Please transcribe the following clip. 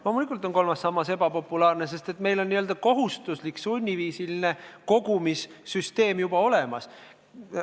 Loomulikult on kolmas sammas ebapopulaarne, sest meil on kohustuslik sunniviisilise kogumise süsteem juba olemas.